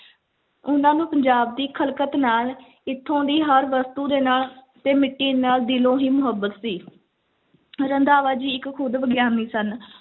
ਉਹਨਾਂ ਨੂੰ ਪੰਜਾਬ ਦੀ ਖ਼ਲਕਤ ਨਾਲ, ਇੱਥੋਂ ਦੀ ਹਰ ਵਸਤੂ ਦੇ ਨਾਲ ਤੇ ਮਿੱਟੀ ਨਾਲ ਦਿਲੋਂ ਹੀ ਮੁਹੱਬਤ ਸੀ ਰੰਧਾਵਾ ਜੀ ਇੱਕ ਖੁੱਦ ਵਿਗਿਆਨੀ ਸਨ।